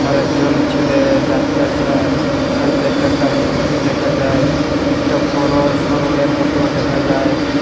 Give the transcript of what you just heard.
আরেকজন ছেলে যাত্তাসে সাইটে একটা কারেন খুঁটি দেখা যায় একটা বড়ো শোরুমের মতো দেখা যায়।